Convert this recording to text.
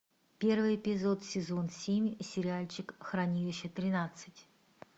первый эпизод сезон семь сериальчик хранилище тринадцать